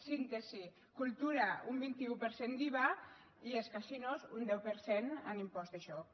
síntesi cultura un vint un per cent d’iva i els casinos un deu per cent en impost de joc